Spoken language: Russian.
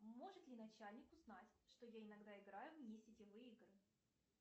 может ли начальник узнать что я иногда играю в несетевые игры